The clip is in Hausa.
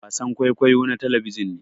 wasan kwaikwayo na talabijin ne